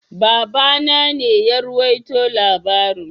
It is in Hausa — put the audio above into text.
Baba na ne ya ruwaito labaring.